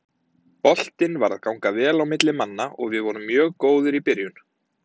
Boltinn var að ganga vel á milli manna og við vorum mjög góðir í byrjun.